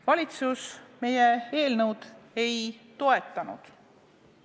Valitsus meie eelnõu ei toetanud.